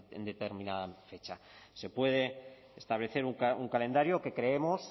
en determinada fecha se puede establecer un calendario que creemos